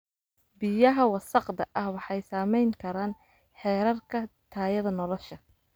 Biyaha wasakhda ah waxay saameyn karaan heerarka tayada nolosha.